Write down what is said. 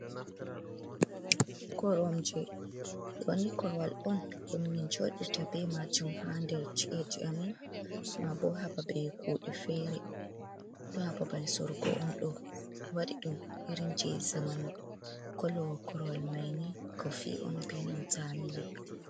"Koromje" ɗooni korowal on ɗum min jooɗata be majum ha nder chi’eji amin maabo ha babe kude fere do haa babal sorugo on ɗo waɗi ɗum irin je zamanu korowal main kolo korowal kofi on benantata milik.